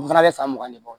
U fana bɛ san mugan de bɔ